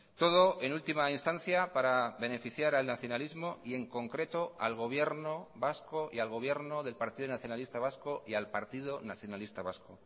todo en ultima instancia para beneficiar al nacionalismo y en concreto al gobierno vasco y al gobierno del partido nacionalista vasco y al partido nacionalista vasco